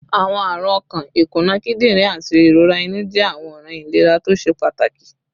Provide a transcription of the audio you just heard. Awọn arun ọkan, ikuna kidirin, ati irora inu jẹ awọn ọran ilera to ṣe pataki